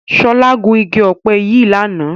Ṣọlá gun igi ọ̀pẹ yìí lánàá.